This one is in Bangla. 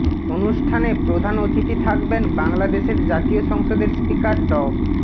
অনুষ্ঠানে প্রধান অতিথি থাকবেন বাংলাদেশের জাতীয় সংসদের স্পিকার ড